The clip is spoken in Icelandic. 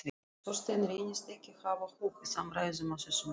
Þorsteinn reyndist ekki hafa hug á samræðum á þessum nótum.